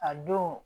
A don